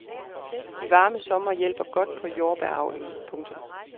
De varme somre hjælper godt på jordbæravlen. punktum